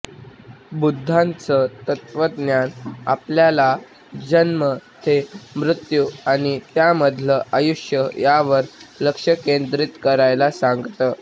बुद्धाचं तत्वज्ञान आपल्याला जन्म ते मृत्यू आणि त्यामधलं आयुष्य यावर लक्ष केंद्रित करायला सांगतं